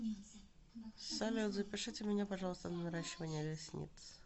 салют запишите меня пожалуйста на наращивание ресниц